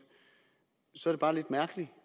så er det bare lidt mærkeligt